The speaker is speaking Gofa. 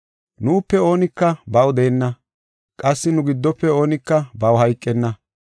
Nuupe oonika baw deenna; qassi nu giddofe oonika baw hayqenna.